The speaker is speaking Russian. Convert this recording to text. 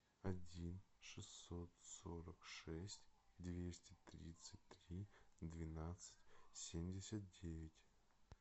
один шестьсот сорок шесть двести тридцать три двенадцать семьдесят девять